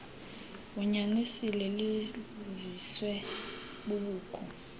unyanisile liziswe bubukho